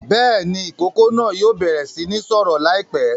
Bẹ́ẹ̀ ni, ìkókó náà yóò bẹ̀rẹ̀ sí ní sọ̀rọ̀ láìpẹ́.